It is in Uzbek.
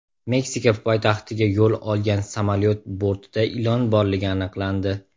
Meksika poytaxtiga yo‘l olgan samolyot bortida ilon borligi aniqlandi.